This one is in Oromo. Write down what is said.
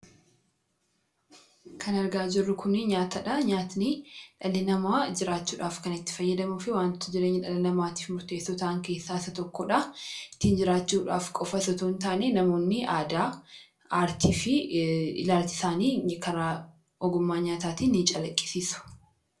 kan argaa jirru kuni nyaataa dha nyaatni dhalii namaa jiraachuudhaaf kan itti fayyadamuu fi waanttoo jireenya dhala namaatiif murteesso ta'an keessaa isa tokkodha. ittiin jiraachuudhaaf qofa osoo hin taane namoonni aadaa aartii fi ilaalcha isaanii karaa ogummaa nyaataatiin ni calaqqisiisu.